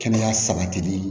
Kɛnɛya sabatili